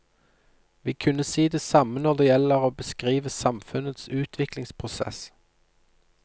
Vi kunne si det samme når det gjelder å beskrive samfunnets utviklingsprosess.